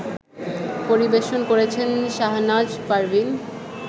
পরিবেশন করছেন শাহনাজ পারভীন